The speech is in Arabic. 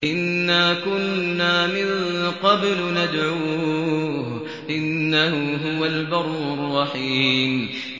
إِنَّا كُنَّا مِن قَبْلُ نَدْعُوهُ ۖ إِنَّهُ هُوَ الْبَرُّ الرَّحِيمُ